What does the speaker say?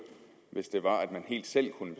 hvis de helt selv kunne